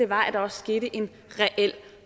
var at der også skete en reel